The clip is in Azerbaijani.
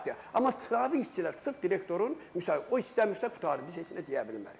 Amma sıravi işçilər sırf direktorun o istəmirsə qurtardı, biz heç nə deyə bilmərik.